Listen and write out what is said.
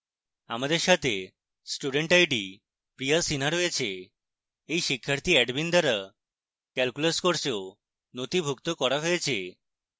আমার সাথে student id priya sinha রয়েছে